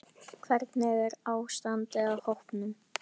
Hvernig er ástandið á hópnum?